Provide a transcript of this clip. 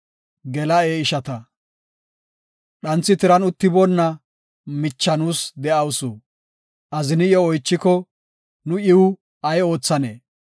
Dhanthi tiran uttiboona micha nuus de7awusu; azini iyo oychiko, nu iw ay oothanee?